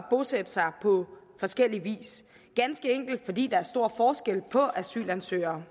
bosætte sig på forskellig vis ganske enkelt fordi der er stor forskel på asylansøgere